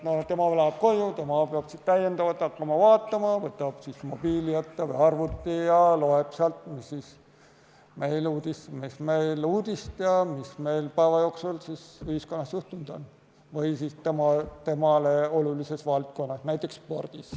Tema läheb koju ja peab siis täiendavalt hakkama seda vaatama, ta võtab mobiili või arvuti ette ja loeb sealt, mis uudist ja mis päeva jooksul juhtunud on ühiskonnas või temale olulises valdkonnas, näiteks spordis.